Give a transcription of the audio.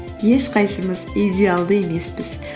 ешқайсымыз идеалды емеспіз